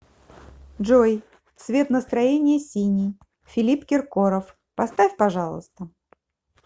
джой цвет настроения синий филипп киркоров поставь пожалуйста